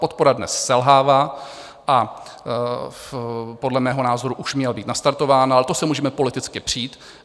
Podpora dnes selhává a podle mého názoru už měla být nastartována, ale to se můžeme politicky přít.